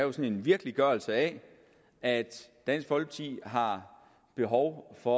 også er en virkeliggørelse af at dansk folkeparti har behov for